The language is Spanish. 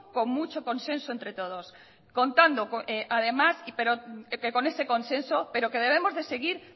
con mucho consenso entre todos contando además con ese consenso pero que debemos de seguir